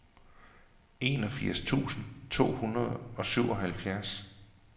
enogfirs tusind to hundrede og syvoghalvfjerds